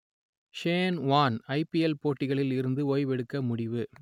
Shane Warne IPL போட்டிகளில் இருந்து ஓய்வெடுக்க முடிவு